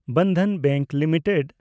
Bandhan bank limited